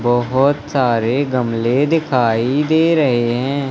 बहोत सारे गमले दिखाई दे रहे हैं।